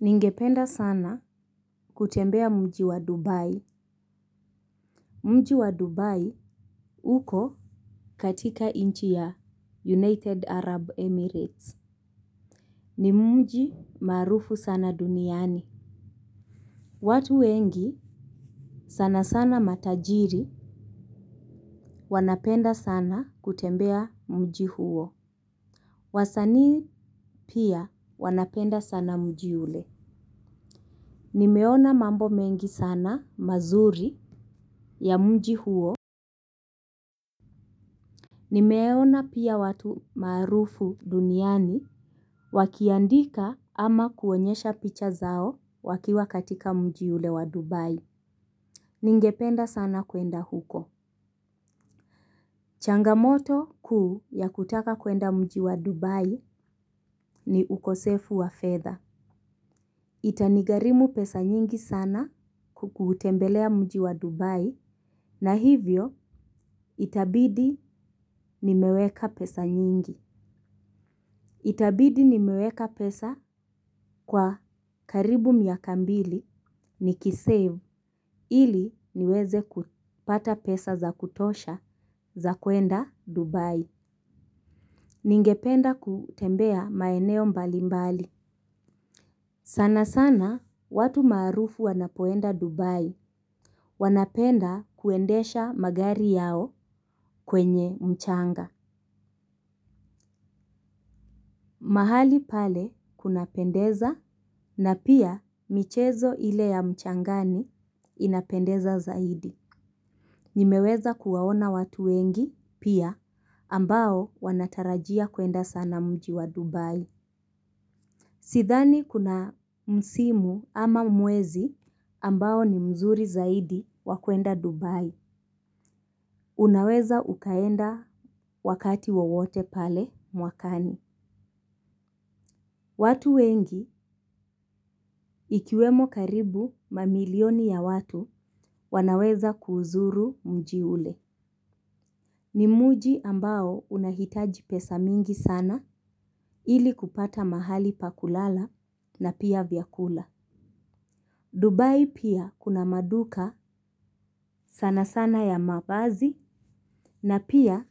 Ningependa sana kutembea mji wa Dubai. Mji wa Dubai uko katika nchi ya United Arab Emirates. Ni mji maarufu sana duniani. Watu wengi sana sana matajiri wanapenda sana kutembea mji huo. Wasanii pia wanapenda sana mji ule. Nimeona mambo mengi sana mazuri ya mji huo. Nimeona pia watu maarufu duniani wakiandika ama kuonyesha picha zao wakiwa katika mji ule wa Dubai. Ningependa sana kwenda huko. Changamoto kuu ya kutaka kwenda mji wa Dubai ni ukosefu wa fedha.itanigharimu pesa nyingi sana kuutembelea mji wa Dubai na hivyo itabidi nimeweka pesa nyingi. Itabidi nimeweka pesa kwa karibu miaka mbili nikisave ili niweze kupata pesa za kutosha za kuenda Dubai. Ningependa kutembea maeneo mbali mbali. Sana sana watu maarufu wanapoenda Dubai wanapenda kuendesha magari yao kwenye mchanga. Mahali pale kunapendeza na pia michezo ile ya mchangani inapendeza zaidi. Nimeweza kuwaona watu wengi pia ambao wanatarajia kuenda sana mji wa Dubai. Sidhani kuna msimu ama mwezi ambao ni mzuri zaidi wa kuenda Dubai. Unaweza ukaenda wakati wowote pale mwakani. Watu wengi, ikiwemo karibu mamilioni ya watu, wanaweza kuuzuru mji ule. Ni mji ambao unahitaji pesa mingi sana ili kupata mahali pa kulala na pia vyakula. Dubai pia kuna maduka sana sana ya mavazi na pia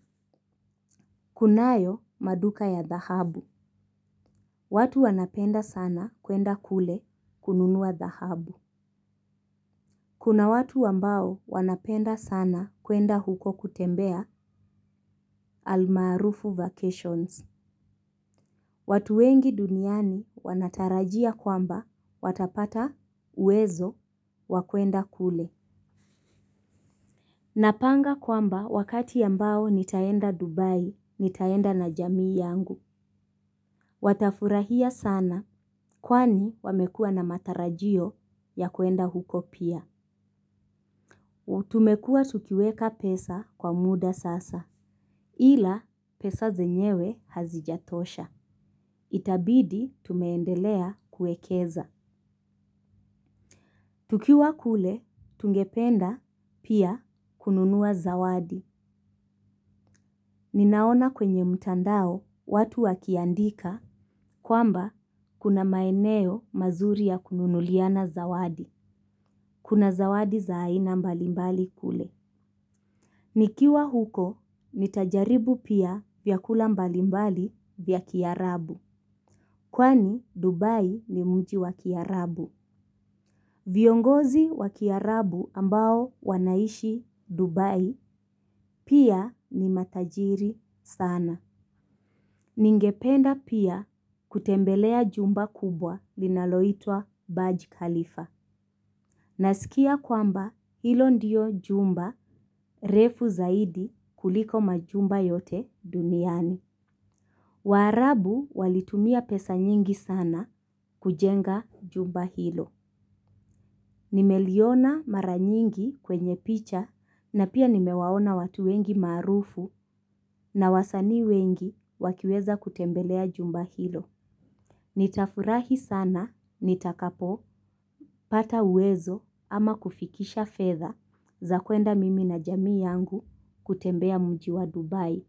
kunayo maduka ya dhahabu. Watu wanapenda sana kuenda kule kununua dhahabu. Kuna watu ambao wanapenda sana kuenda huko kutembea almaarufu vacations. Watu wengi duniani wanatarajia kwamba watapata uwezo wa kuenda kule. Napanga kwamba wakati ambao nitaenda Dubai nitaenda na jamii yangu. Watafurahia sana kwani wamekua na matarajio ya kuenda huko pia. Tumekuwa tukiweka pesa kwa muda sasa ili ila pesa zenyewe hazijatosha. Itabidi tumeendelea kuekeza. Tukiwa kule, tungependa pia kununua zawadi. Ninaona kwenye mtandao watu wakiandika kwamba kuna maeneo mazuri ya kununuliana zawadi. Kuna zawadi za aina mbalimbali kule. Nikiwa huko, nitajaribu pia vyakula mbalimbali vya kiarabu. Kwani Dubai ni mji wa kiarabu. Viongozi wa kiarabu ambao wanaishi Dubai pia ni matajiri sana. Ningependa pia kutembelea jumba kubwa linaloitwa Baj Khalifa. Nasikia kwamba hilo ndiyo jumba refu zaidi kuliko majumba yote duniani. Waaarabu walitumia pesa nyingi sana kujenga jumba hilo. Nimeliona mara nyingi kwenye picha na pia nimewaona watu wengi maarufu na wasanii wengi wakiweza kutembelea jumba hilo. Nitafurahi sana nitakapopata uwezo ama kufikisha fedha za kwenda mimi na jamii yangu kutembea mji wa Dubai.